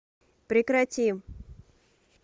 прекрати